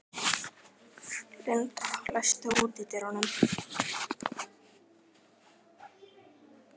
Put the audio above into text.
Lydia, læstu útidyrunum.